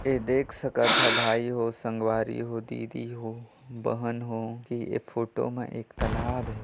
ये देख सकत ह भाई हो संगवारी हो दीदी हो बहन हो की ए फोटो म एक तलाब हे।